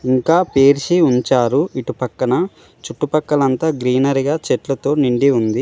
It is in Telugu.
ఇంకా పేర్చి ఉంచారు ఇటు పక్కన చుట్టుపక్కలంతా గ్రీనరీగా చెట్లతో నిండి ఉంది.